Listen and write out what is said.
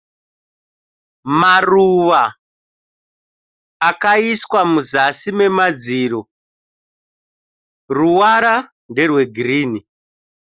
Maruva akaiswa muzasi nemadziro. Ruvara nerwegirinhi.